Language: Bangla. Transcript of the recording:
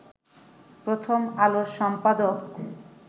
প্রথম আলোর সম্পাদক